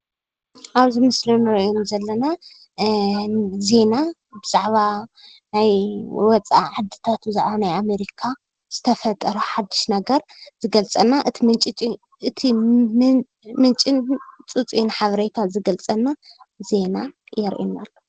ኣብዚ ምስሊ እንርእዮም ዘለና ዜና ብዛዕባ ናይ ወፃእ ዓድታት በዛዕባ ናይ ኣሜርካ ዝተፈጠረ ሓድሽ ነገር ዘገልፀልና እቲ ምንጪ ፅፁይ ሓበሬታን ዝገልፀልናን ዜና የርእየና።